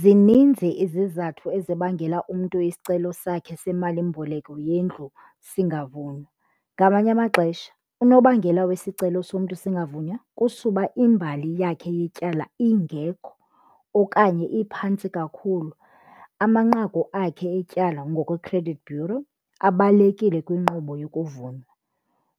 Zininzi izizathu ezibangela umntu isicelo sakhe semalimboleko yendlu singavunywa. Ngamanye amaxesha unobangela wesicelo somntu singavunywa kusuba imbali yakhe yetyala ingekho okanye iphantsi kakhulu. Amanqaku akhe etyala ngokwe-credit bureau abalulekile kwinkqubo yokuvunywa,